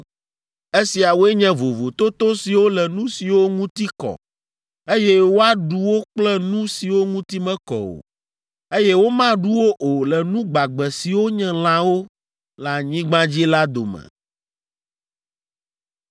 Esiawoe nye vovototo siwo le nu siwo ŋuti kɔ, eye woaɖu wo kple nu siwo ŋuti mekɔ o, eye womaɖu wo o le nu gbagbe siwo nye lãwo le anyigba dzi la dome.’ ”